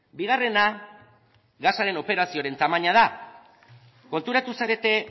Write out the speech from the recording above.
bigarrena gasaren operazioaren tamaina da konturatu zarete